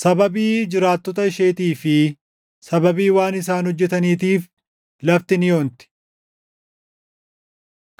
Sababii jiraattota isheetii fi sababii waan isaan hojjetaniitiif lafti ni onti.